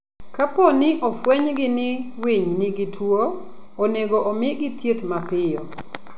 Kapo ni ofwenygi ni winy ni gituwo, onego omigi thieth mapiyo.